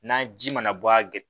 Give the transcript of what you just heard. N'a ji mana bɔ a